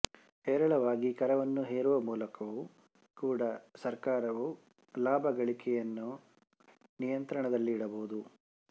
ಹೇರಳವಾಗಿ ಕರವನ್ನು ಹೇರವ ಮೂಲಕವೂ ಕೂಡ ಸರಕಾರವು ಲಾಭಗಳೆಕೆಯನ್ನು ನಿಯಂತ್ರಣದಲಿಡಬಹುದು